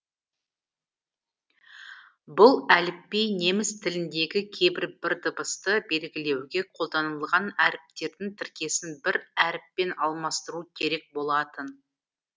бұл әліпби неміс тіліндегі кейбір бір дыбысты белгілеуге қолданылған әріптердің тіркесін бір әріппен алмастыруы керек болатын